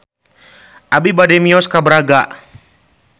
Abi bade mios ka Braga